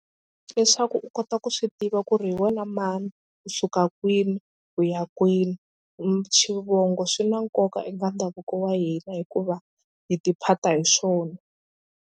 Leswaku u kota ku swi tiva ku ri hi wena mani u suka kwini u ya kwini. Xivongo swi na nkoka eka ndhavuko wa hina hikuva hi tiphata hi swona.